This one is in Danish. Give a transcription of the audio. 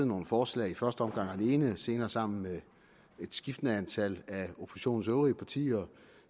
nogle forslag i første omgang alene senere sammen med et skiftende antal af oppositionens øvrige partier